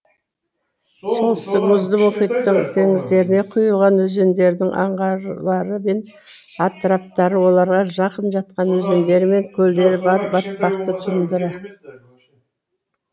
солтүстік мұзды мұхиттың теңіздеріне құйылатын өзендерінің аңғарлары мен атыраптары оларға жақын жатқан өзендері мен көлдері бар батпақты тундра